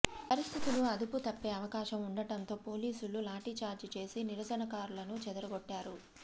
పరిస్థితులు అదుపు తప్పే అవకాశం ఉండటంతో పోలీసులు లాఠీచార్జి చేసి నిరసనకారులను చెదరగొట్టారు